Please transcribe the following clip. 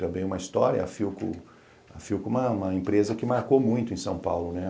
Também uma história, a Philco... A Philco é uma empresa que marcou muito em São Paulo, né?